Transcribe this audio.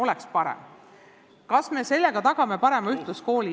Kas me tagame sellega parema ühtluskooli?